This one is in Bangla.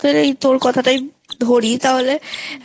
এই তোর কথা টাই ধরি তাহলে